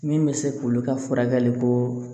Min bɛ se k'olu ka furakɛli ko